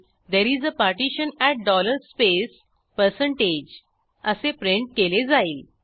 Therese a partition at spaceअसे print केले जाईल